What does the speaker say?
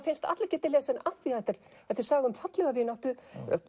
finnst að allir geti lesið hana því þetta er þetta er saga um fallega vináttu